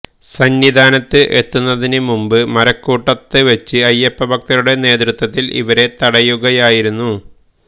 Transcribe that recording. സന്നിധാനത്ത് എത്തുന്നതിന് മുമ്പ് മരക്കൂട്ടത്തവെച്ച് അയ്യപ്പഭക്തരുടെ നേത്യത്വത്തില് ഇവരെ തടയുകയായിരുന്നു